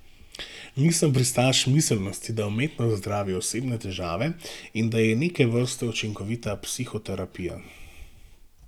Nisem pristaš miselnosti, da umetnost zdravi osebne težave in da je neke vrste učinkovita psihoterapija.